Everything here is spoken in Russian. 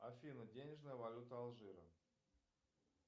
афина денежная валюта алжира